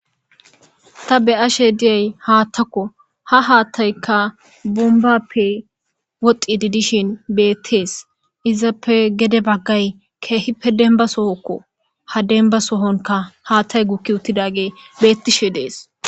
Ta beashshe diyay haattako ha hattayka bombappe wodhidi dishin bettes izzappe gedde baggay kehippe dembba sohoko ha demba sohonika hattay guki uttidagey betishe dessi.